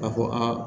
A ko aa